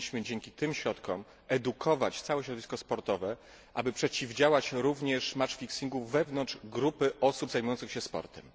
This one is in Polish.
Powinniśmy dzięki tym środkom edukować całe środowisko sportowe, aby przeciwdziałać również ustawianiu meczów wewnątrz grupy osób zajmujących się sportem.